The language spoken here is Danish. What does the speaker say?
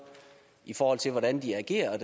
i forhold til hvordan de agerer